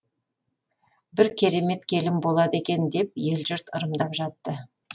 бір керемет келін болады екен деп ел жұрт ырымдап жатты